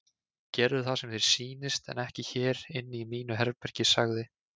Gerðu það sem þér sýnist en ekki hér inni í mínu herbergi sagði